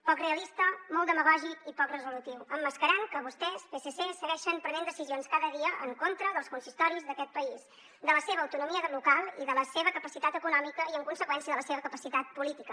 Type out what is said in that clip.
poc realista molt demagògic i poc resolutiu emmascarant que vostès psc segueixen prenent decisions cada dia en contra dels consistoris d’aquest país de la seva autonomia local i de la seva capacitat econòmica i en conseqüència de la seva capacitat política